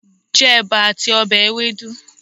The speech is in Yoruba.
Je Eba ati obe Ewedu